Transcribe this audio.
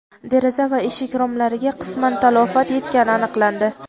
deraza va eshik romlariga qisman talafot yetgani aniqlandi.